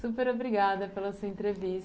Super obrigada pela sua entrevista.